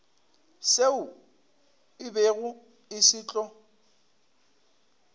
seo se bego se tlo